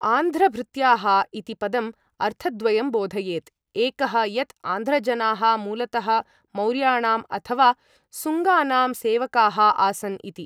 आन्ध्रभृत्याः इति पदम् अर्थद्वयं बोधयेत्, एकः यत् आन्ध्रजनाः मूलतः मौर्याणाम् अथवा सुङ्गानां सेवकाः आसन् इति।